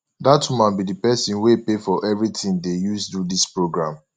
dat woman be the person wey pay for everything dey use do dis programme